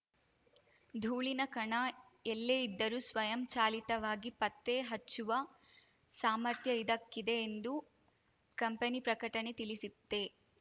ಧೂಳಿನ ಕಣ ಎಲ್ಲೇ ಇದ್ದರೂ ಸ್ವಯಂ ಚಾಲಿತವಾಗಿ ಪತ್ತೆ ಹಚ್ಚುವ ಸಾಮರ್ಥ್ಯ ಇದಕ್ಕಿದೆ ಎಂದು ಕಂಪೆನಿ ಪ್ರಕಟಣೆ ತಿಳಿಸಿತ್ತೆ